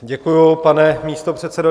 Děkuji, pane místopředsedo.